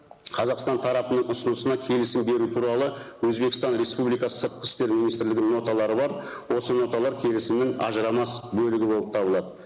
қазақстан тарапының ұсынысына келісім беру туралы өзбекстан республикасы сыртқы істер министрлігінің ноталары бар осы ноталар келісімнің ажырамас бөлігі болып табылады